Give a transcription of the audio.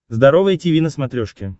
здоровое тиви на смотрешке